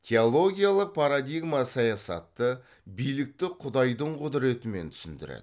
теологиялық парадигма саясатты билікті құдайдың құдіретімен түсіндіреді